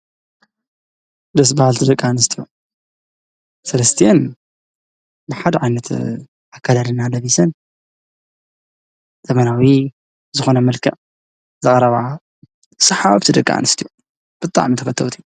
ደስ በሃልቲ ደቂ ኣንስትዮ፡፡ ሰለስቲአን ብሓደ ዓይነት ኣከዳድና ለቢሰን ዘመናዊ ዝኾነ መልክዕ ዘቕረባ ሰሓብቲ ደቂ ኣንስትዮ ብጣዕሚ ተፈተውቲ፡፡